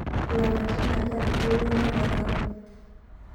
Lapatin aja itowuana tenkang